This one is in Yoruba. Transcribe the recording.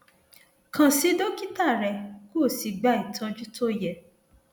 kàn sí dókítà rẹ kó o sì gba ìtọjú tó yẹ